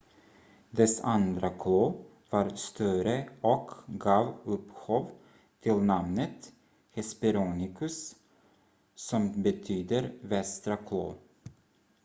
"dess andra klo var större och gav upphov till namnet hesperonychus som betyder "västra klo.""